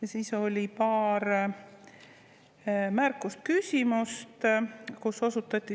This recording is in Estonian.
Ja siis oli paar märkust, küsimust, kus osutati